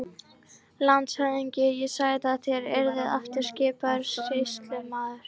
LANDSHÖFÐINGI: Ég sagði að þér yrðuð aftur skipaður sýslumaður.